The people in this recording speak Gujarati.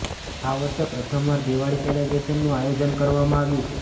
આ વર્ષે પ્રથમવાર દિવાળી સેલિબ્રેશનનું આયોજન કરવામાં આવ્યું છે